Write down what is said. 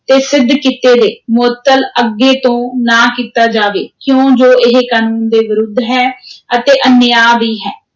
ਤੇ ਸਿੱਧ ਕੀਤੇ ਦੇ, ਮੁਅੱਤਲ ਅੱਗੇ ਤੋਂ ਨਾ ਕੀਤਾ ਜਾਵੇ, ਕਿਉਂ ਜੋ ਇਹ ਕਾਨੂੰਨ ਦੇ ਵਿਰੁੱਧ ਹੈ ਅਤੇ ਅਨਿਯਾ ਵੀ ਹੈ।